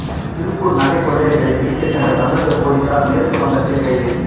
திருப்பூர் நகை கொள்ளையர்களைப் பிடிக்கச் சென்ற தமிழக போலீசார் மேற்கு வங்கத்தில் கைது